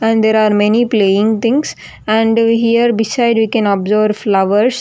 And there are many playing things and here beside you can observe flowers.